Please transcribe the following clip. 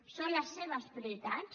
són les seves prioritats